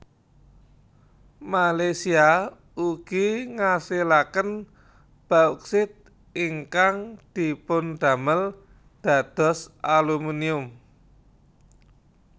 Malaysia ugi ngasilaken Bauksit ingkang dipundamel dados Alumunium